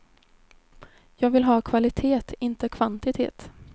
Jag vill ha kvalitet inte kvantitet.